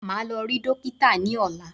Màá lọ rí dókítà ní ọ̀lá.